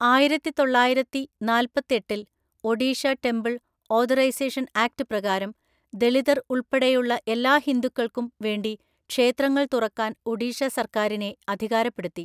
ആയിരത്തിതൊള്ളായിരത്തിനാല്‍പ്പത്തെട്ടില്‍ Odisha temple authorisation act പ്രകാരം ദലിതർ ഉൾപ്പെടെയുള്ള എല്ലാ ഹിന്ദുക്കൾക്കും വേണ്ടി ക്ഷേത്രങ്ങൾ തുറക്കാൻ ഒഡീഷ സർക്കാരിനെ അധികാരപ്പെടുത്തി.